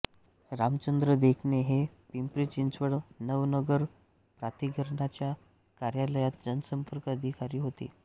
रामचंद्र देखणे हे पिंपरीचिंचवड नवनगर प्राधिकरणाच्या कार्यालयात जनसंपर्क अधिकारी होते